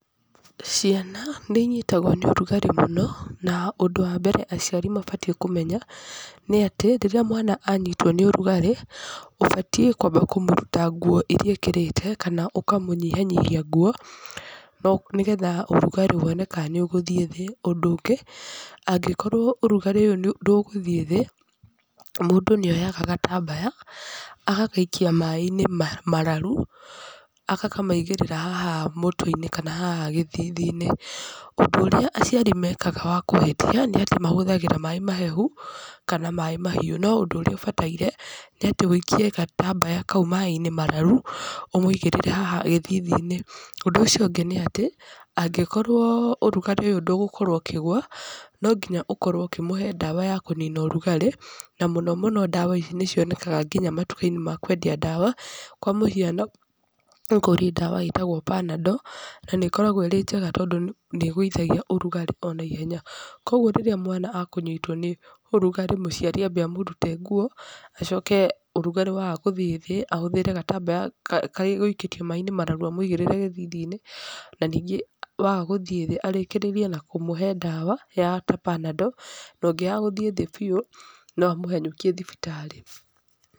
Ciana, nĩ inyitagwo nĩ ũrugarĩ mũno, na ũndũ wa mbere aciari mabatiĩ kũmenya, nĩ atĩ, rĩrĩa mwana anyitwo nĩ ũrugarĩ, ũbatiĩ kwamba kũmũruta nguo irĩa ekĩrĩte, kana ũkamũnyihanyihia nguo, nĩgetha ũrugarĩ wone ka nĩ ũgũthiĩ thĩ. Ũndũ ũngĩ, angĩkorwo ũrugarĩ ũyũ nĩ ndũgũthiĩ thĩ, mũndũ nĩ oyaga gatambaya, agagaikia maaĩ-inĩ mararu, agakamaigĩrĩra haha mũtwe-inĩ kana haha gĩthithi-inĩ. Ũndũ ũrĩa aciari mekaga wa kũhĩtia, nĩ atĩ mahũthagĩra maaĩ mahehu, kana maaĩ mahiũ. No ũndũ ũrĩa ũbataire, nĩ atĩ wĩikie gatambaya kau maaĩ-inĩ mararu, ũmũigĩrĩre haha gĩthithi-inĩ. Ũndũ ũcio ũngĩ nĩ atĩ, angĩkorwo ũrugarĩ ũyũ ndũgũkorwo ũkĩgũa, no nginya ũkorwo ũkĩmũhe ndawa ya kũnini ũrugarĩ, na mũno mũno ndawa ici nĩ cionekaga nginya matuka-inĩ ma kwendia ndawa. Kwa mũhiano nĩ kũrĩ ndawa ĩtagwo panando, na nĩ ĩkoragwo ĩrĩ njega tondũ nĩ ĩgũithagia ũrugarĩ onaihenya. Kũguo rĩrĩa mwana akũnyitwo nĩ ũrugarĩ mũciari ambe amũrute nguo, acoke ũrugarĩ waga gũthiĩ thĩ, ahũthĩre gatambaya karĩa egũikĩtie maaĩ-inĩ mararu amũigĩrĩre gĩthithi-inĩ, na ningĩ waga gũthiĩ thĩ arĩkĩrĩrie na kũmũhe ndawa, ya ta Panadol. Na ũngĩaga gũthiĩ thĩ biũ, no amũhanyũkie thibitarĩ.